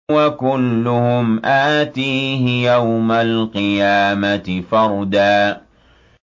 وَكُلُّهُمْ آتِيهِ يَوْمَ الْقِيَامَةِ فَرْدًا